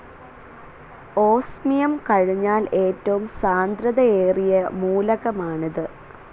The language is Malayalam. ഓസ്മിയം കഴിഞ്ഞാൽ ഏറ്റവും സാന്ദ്രതയേറിയ മൂലകമാണിത്.